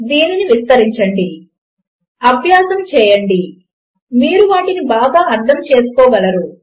దీనిని విస్తరించండి అభ్యాసము చేయండి మీరు వాటిని బాగా అర్థంచేసుకోగలరు